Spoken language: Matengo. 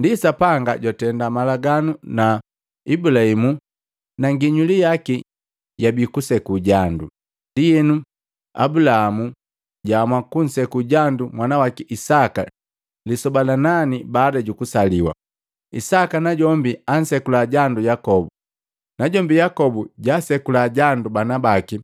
Ndi Sapanga jwatenda malaganu na Ablahamu na nginyuli yaki jabii kuseku jandu. Ndienu Ablahamu jwaamua kunseku jandu mwanawaki Isaka lisoba la nani baada jukusaliwa. Isaka najombi ansekula jandu Yakobu. Najombi Yakobu jaasekula jandu banabaki